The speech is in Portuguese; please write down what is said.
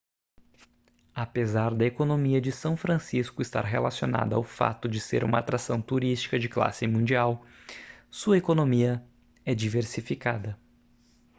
apesar da economia de são francisco estar relacionada ao fato de ser uma atração turística de classe mundial sua economia é diversificada